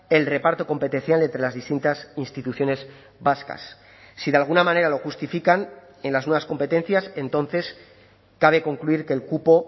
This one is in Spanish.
el reparto competencial entre las distintas instituciones vascas si de alguna manera lo justifican en las nuevas competencias entonces cabe concluir que el cupo